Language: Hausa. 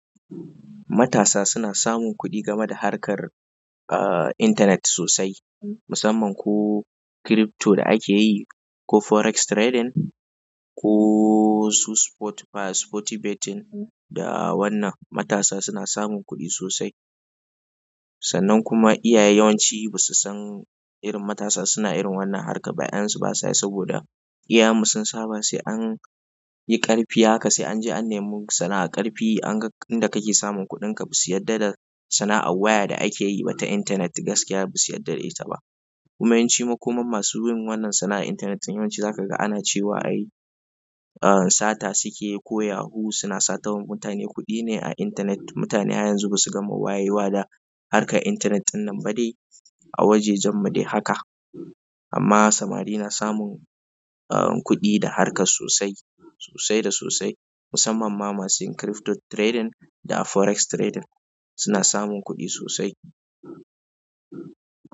Matasa suna samun kuɗi game da harkar intanet sosai musamman ko crypto da ake yi, ko forex trading, ko su sport, ba sporty betting da wannan. Matasa suna samun kuɗi sosai. Musamman ko crypto da ake yi, ko forex trading, ko iyayensu basa yi saboda iyayenmu sun saba in anyi ƙarfi don haka sai anje an nemo sana'ar ƙarfi anga inda kake samun kuɗinka ba su yarda da sana'ar waya da ake yi ba ta intanet. Gaskiya ba su yarda da ita ba. Kuma yawanci makomam masu yin wannan sana'an intanet yawanci zakaga ana cewa ai a sata sukeyi, ko yahu suna sata wa mutane kuɗi ne a intanet. Mutane har yanzu basu gama wayewa da harkan intanet ɗin nan ba de a wajajenmu haka. Amma samari na samun kuɗi da harkan sosai da sosai musamman ma masu yin crypto trading, da forex trading.